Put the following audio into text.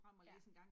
Ja